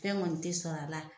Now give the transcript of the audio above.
Fɛn kɔni tɛ sɔrɔ a la.